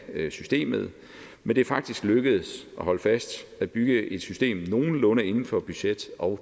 systemet men det er faktisk lykkedes og hold fast at bygge et system nogenlunde inden for budget og